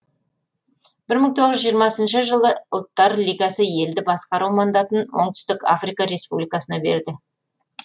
жылы ұлттар лигасы елді басқару мандатын оңтүстік африка республикасына берді